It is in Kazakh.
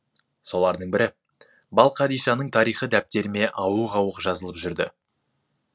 солардың бірі балқадишаның тарихы дәптеріме ауық ауық жазылып жүрді